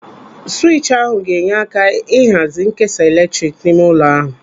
Swịtchi ahụ ga-enye aka ihazi nkesa eletrik n'ime ụlọ ahụ.